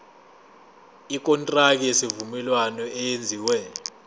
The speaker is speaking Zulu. ikontraki yesivumelwano eyenziwe